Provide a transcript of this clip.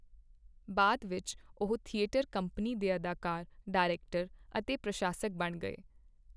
ਬਾਅਦ ਵਿੱਚ ਉਹ ਥੀਏਟਰ ਕੰਪਨੀ ਦੇ ਅਦਾਕਾਰ, ਡਾਇਰੈਕਟਰ ਅਤੇ ਪ੍ਰਸ਼ਾਸਕ ਬਣ ਗਏ।